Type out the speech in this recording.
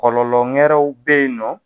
Kɔlɔlɔ ngɛrɛw be yen nɔ